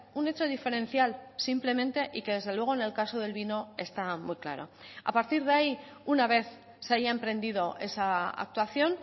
un hecho diferencial simplemente y que desde luego en el caso del vino está muy claro a partir de ahí una vez se haya emprendido esa actuación